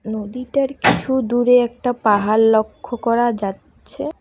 নদীটার কিছু দূরে একটা পাহাড় লক্ষ্য করা যাচ্ছে।